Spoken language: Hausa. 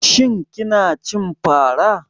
Shin kina cin fara?